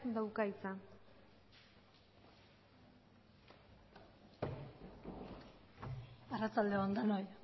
dauka hitza arratsalde on denoi